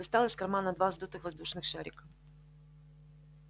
достал из кармана два сдутых воздушных шарика